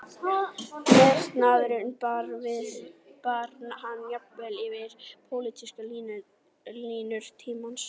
Metnaðurinn bar hann jafnvel yfir pólitískar línur tímans